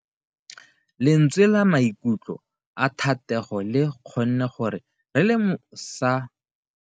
Lentswe la maikutlo a Thatego le kgonne gore re lemosa botlhoko jwa pelo ya gagwe.